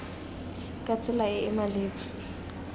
ka tsela e e maleba